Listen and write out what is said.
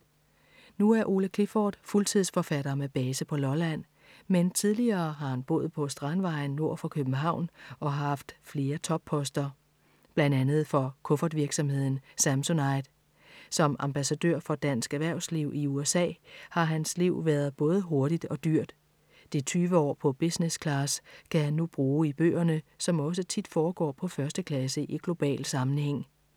Nu er Ole Clifford fuldtidsforfatter med base på Lolland, men tidligere har han boet på Strandvejen nord for København og haft flere topposter. Blandt andet for kuffertvirksomheden Samsonite. Som ambassadør for dansk erhvervsliv i USA har hans liv været både hurtigt og dyrt. De 20 år på business class kan han nu bruge i bøgerne, som også tit foregår på første klasse i global sammenhæng.